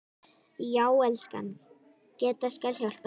Já, elskan, Gedda skal hjálpa þér